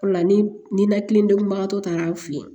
O la ni ninakilidenkun bagatɔ taara an fɛ yen